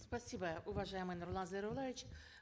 спасибо уважаемый нурлан зайроллаевич